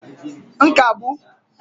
nkagbu